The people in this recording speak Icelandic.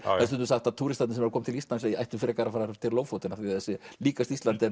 er stundum sagt að túristarnir sem koma til Íslands ættu frekar að fara til Lofoten af því það sé líkast Íslandi en